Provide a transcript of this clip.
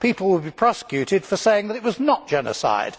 People will be prosecuted for saying that it was not genocide.